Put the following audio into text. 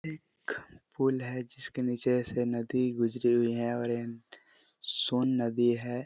एक पूल है जिसके नीचे ऐसे नदी गुजरी हुई है और ये सोन नदी है।